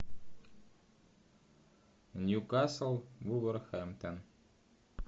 ньюкасл вулверхэмптон